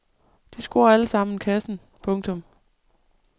De scorer alle sammen kassen. punktum